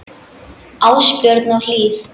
Ásbjörn og Hlíf.